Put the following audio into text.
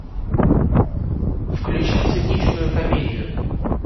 включи циничную комедию